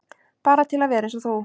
Bara til að vera eins og þú.